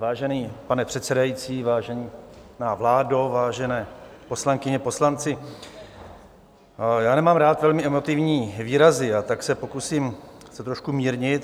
Vážený pane předsedající, vážená vládo, vážené poslankyně, poslanci, já nemám rád velmi emotivní výrazy, a tak se pokusím to trošku mírnit.